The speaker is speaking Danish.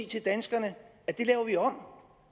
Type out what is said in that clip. til danskerne det laver vi om